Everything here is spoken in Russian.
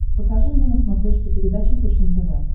покажи мне на смотрешке передачу фэшен тв